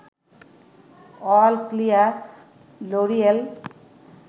all clear, L'Oréal